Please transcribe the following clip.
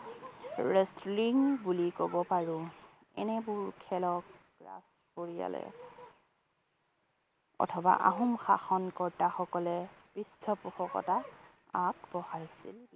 Wrestling বুলি কব পাৰোঁ। এনেবোৰ খেলক ৰাজ পৰিয়ালে অথবা আহোম শাসনকৰ্তা সকলে পৃষ্ঠ পোষকতা আগবঢ়াইছিল।